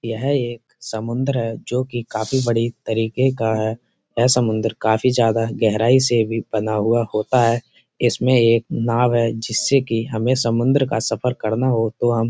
ये एक समुन्द्र है जो काफी बड़े तरीके का है। यह समुन्द्र काफी ज्यादा गहराई से भी बना हुआ होता है। इसमें एक नाव् है जिस से हमे समुन्द्र का सफर करना हो तो हम --